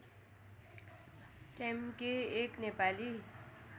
ट्याम्के एक नेपाली